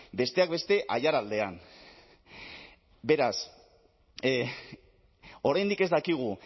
besteak beste aiaraldean beraz oraindik ez dakigu